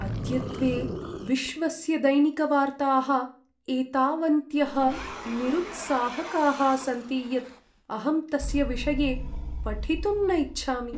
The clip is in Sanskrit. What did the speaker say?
अद्यत्वे विश्वस्य दैनिकवार्ताः एतावन्त्यः निरुत्साहकाः सन्ति यत् अहम् तस्य विषये पठितुं न इच्छामि।